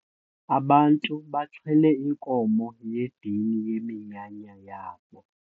Abantu baxhele inkomo yedini yeminyanya yabo.